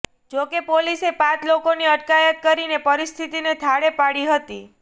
જો કે પોલીસે પાંચ લોકોની અટકાયત કરીને પરિસ્થિતીને થાળે પાડી હતી